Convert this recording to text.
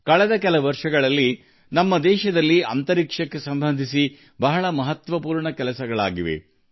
ಕಳೆದ ಕೆಲವು ವರ್ಷಗಳಲ್ಲಿ ನಮ್ಮ ದೇಶದಲ್ಲಿ ಬಾಹ್ಯಾಕಾಶ ಕ್ಷೇತ್ರಕ್ಕೆ ಸಂಬಂಧಿಸಿದ ಅನೇಕ ದೊಡ್ಡ ಸಾಧನೆಗಳನ್ನು ಸಾಧಿಸಲಾಗಿದೆ